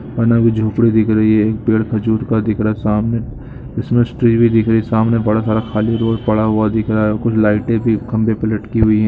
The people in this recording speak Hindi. बना हुआ झोंपड़ी दिख रही है पेड़ खजूर का दिख रहा है सामने क्रिसमस ट्री भी दिख रही है सामने बड़ा सारा खाली रोड पड़ा हुआ दिख रहा है और कुछ लाइटे भी खंबे पर लटकी हुई है।